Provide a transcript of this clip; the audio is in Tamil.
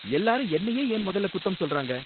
எல்லாரும் என்னையே ஏன் முதல்ல குத்தம் சொல்றாங்க?